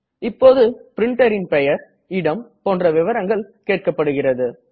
இப்போது printerன் பெயர் இடம் போன்ற விவரங்கள் கேட்கப்படுகிறது